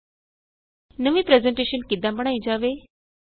Microsoft power point presentation ਨੂੰ ਕਿਸ ਤਰਹ ਸੇਵ ਕੀਤਾ ਜਾਏ